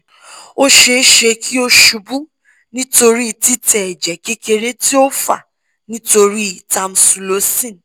o ṣee ṣe ki o ṣubu nitori titẹ ẹjẹ kekere ti o fa nitori tamsulosin